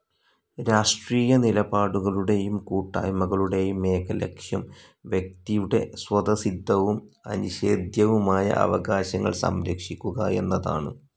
രാഷ്ട്രീയനിലപാടുകളുടെയും കൂട്ടായ്മകളുടെയും ഏക ലക്ഷ്യം വ്യക്തിയുടെ സ്വതസിദ്ധവും അനിഷേധ്യവുമായ അവകാശങ്ങൾ സംരക്ഷിക്കുക എന്നതാണ്.